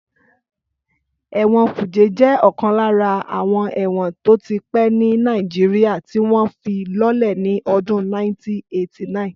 Ẹ̀wọ̀n kùjé jẹ́ ọ̀kan lára àwọn ẹ̀wọ̀n tó ti pẹ́ ní Nàìjíríyà tí wọ́n fi lọ́lẹ̀ ní ọdún 1989